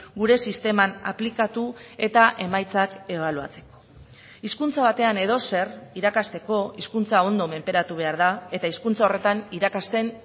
gure sisteman aplikatu eta emaitzak ebaluatzeko hizkuntza batean edozer irakasteko hizkuntza ondo menperatu behar da eta hizkuntza horretan irakasten